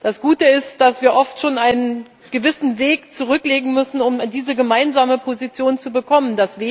Das Gute ist, dass wir oft schon einen gewissen Weg zurücklegen müssen, um diese gemeinsame Position zu bekommen.